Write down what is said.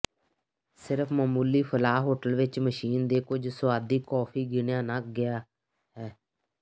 ਸਿਰਫ ਮਾਮੂਲੀ ਫਲਾਅ ਹੋਟਲ ਵਿਚ ਮਸ਼ੀਨ ਦੇ ਕੁਝ ਸੁਆਦੀ ਕੌਫੀ ਗਿਣਿਆ ਨਾ ਗਿਆ ਹੈ